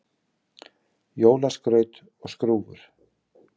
Jólaskraut og skrúfur